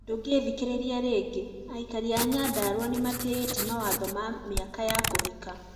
Ndũngethikiriria rĩngĩ, Aikari a Nyandarua nimatĩĩte mawatho ma miaka ya kũhika